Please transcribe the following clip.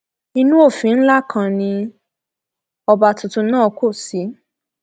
inú òfin ńlá kan ni ọba tuntun náà kò sí